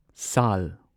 ꯁꯥꯜ